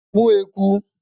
mu eku